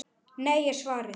Nei er svarið.